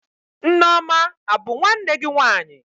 Nneoma a bụ nwanne gị nwaanyị?